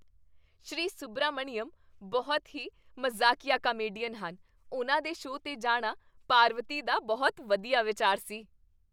ਸ਼੍ਰੀ ਸੁਬਰਾਮਣੀਅਮ ਬਹੁਤ ਹੀ ਮਜ਼ਾਕੀਆ ਕਾਮੇਡੀਅਨ ਹਨ। ਉਨ੍ਹਾਂ ਦੇ ਸ਼ੋਅ 'ਤੇ ਜਾਣਾ ਪਾਰਵਤੀ ਦਾ ਬਹੁਤ ਵਧੀਆ ਵਿਚਾਰ ਸੀ।